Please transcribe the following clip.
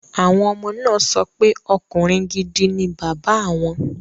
Àwọn ọmọ náà sọ pé ọkùnrin gidi ni bàbá awọn